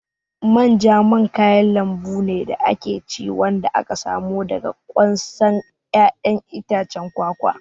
Manja man kayan lambu ne da ake ci wanda aka samo daga ƙwansan ƴaƴan itacen kwakwa.